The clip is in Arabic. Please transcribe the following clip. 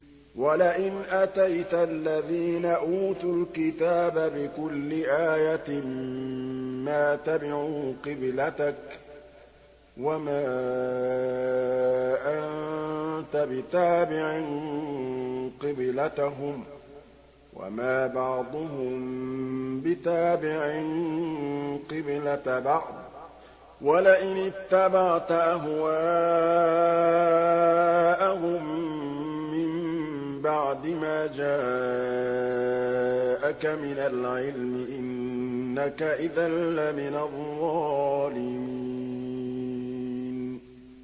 وَلَئِنْ أَتَيْتَ الَّذِينَ أُوتُوا الْكِتَابَ بِكُلِّ آيَةٍ مَّا تَبِعُوا قِبْلَتَكَ ۚ وَمَا أَنتَ بِتَابِعٍ قِبْلَتَهُمْ ۚ وَمَا بَعْضُهُم بِتَابِعٍ قِبْلَةَ بَعْضٍ ۚ وَلَئِنِ اتَّبَعْتَ أَهْوَاءَهُم مِّن بَعْدِ مَا جَاءَكَ مِنَ الْعِلْمِ ۙ إِنَّكَ إِذًا لَّمِنَ الظَّالِمِينَ